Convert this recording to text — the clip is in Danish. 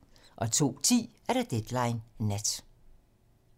02:10: Deadline nat